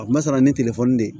A ma sara ni telefɔni de ye